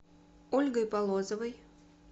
ольгой полозовой